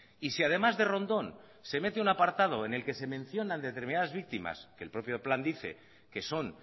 y si además de rondón se mete un apartado en el que se mencionan determinadas víctimas que el propio plan dice que son